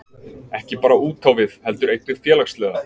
Ekki bara útávið heldur einnig félagslega